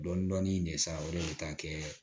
Dɔɔnin dɔɔnin ne sa o de bɛ taa kɛ